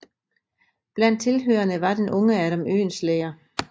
Blandt tilhørerne var den unge Adam Oehlenschläger